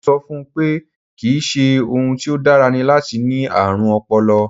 Mo ń sọ fún un pé kì í ṣe ohun tí ó dára ni láti ní ààrùn ọpọlọ